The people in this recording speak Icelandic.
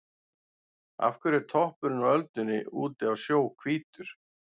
Af hverju er toppurinn á öldunni úti á sjó hvítur?